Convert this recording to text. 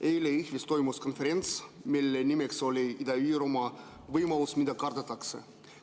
Eile toimus Jõhvis konverents, mille nimeks oli "Ida-Virumaa − võimalus, mida kardetakse".